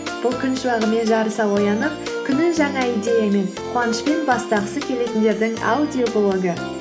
бұл күн шуағымен жарыса оянып күнін жаңа идеямен қуанышпен бастағысы келетіндердің аудиоблогы